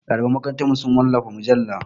Ɗaliban makarantarmu su wallafa mujalla.